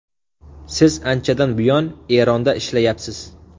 Siz anchadan buyon Eronda ishlayapsiz.